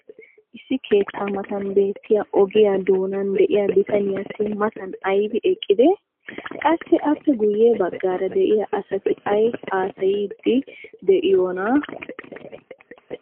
issi keettaa matan beettiya ogiyaa doonan diya bitaniyassi matan aybbi eqqidee? qassi appe guye bagaara de'iya asati ay haasayiidi diyoonaa?